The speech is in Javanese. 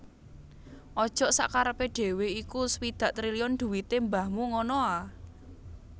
Ojok sakkarepe dhewe iku swidak triliun dhuwite mbahmu ngono a